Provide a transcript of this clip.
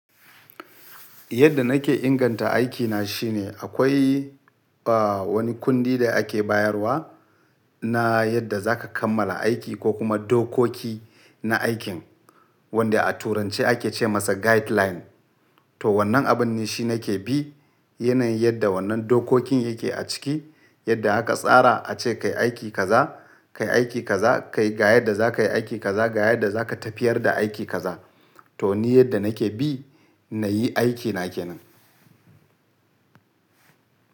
Yadda nake inganta aikina shine akwai, ah, wani kundi da ake bayarwa na yadda za ka kammala aiki ko kuma dokoki na aikin wanda a turance ake ce masa guideline. To wannan abun ne shi nake bi. Yana yin yadda wannan dokokin yake a ciki, yadda aka tsara ace kayi aiki kaza, kayi aiki kaza, kayi ga yadda za ka yi aiki kaza, ga yadda za ka tafiyar da aiki kaza. To ni yadda nake bi nayi aikina kenan.